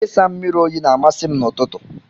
Ịsa mmiri oyi na-amasị m n'ụtụtụ.